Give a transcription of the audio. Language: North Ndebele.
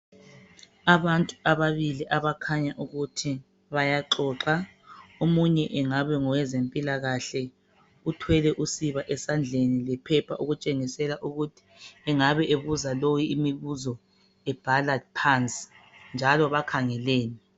Abantu ababili abakhanya ukuthi bayaxoxa . Omunye engabe ngowezempilakahle. Uthwele usiba esandleni lephepha okutshengisela ukuthi engabe ebuza lo imibuzo ebhala phansi njalo bakhangelene.